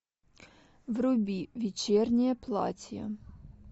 вруби вечернее платье